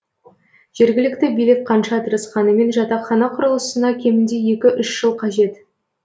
жергілікті билік қанша тырысқанымен жатақхана құрылысына кемінде екі үш жыл қажет